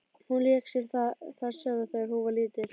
Hún lék sér þar sjálf þegar hún var lítil.